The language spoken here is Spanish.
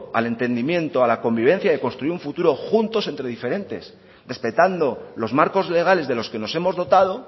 al entendimiento a la convivencia y a construir un futuro juntos entre diferentes respetando los marcos legales de los que nos hemos dotado